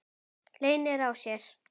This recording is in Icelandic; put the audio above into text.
Leynir á sér!